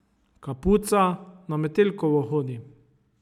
Kapuca, na Metelkovo hodi.